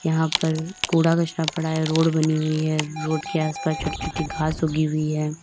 यहां पर कूड़ा कचरा पड़ा है रोड बनी हुई है। रोड के आसपास छोटी-छोटी घास उगी हुई है।